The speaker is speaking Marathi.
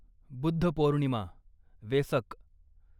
बुद्ध पौर्णिमा, वेसक